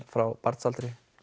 frá barnsaldri